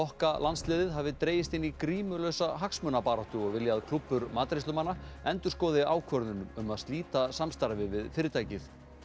kokkalandsliðið hafi dregist inn í grímulausa hagsmunabaráttu og vilja að klúbbur matreiðslumanna endurskoði ákvörðun um að slíta samstarfi við fyrirtækið